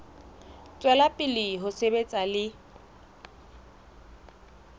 tswela pele ho sebetsa le